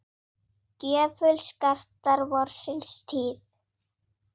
gjöful skartar vorsins tíð.